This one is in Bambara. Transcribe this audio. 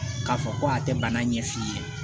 K'a fɔ ko a tɛ bana ɲɛf'i ye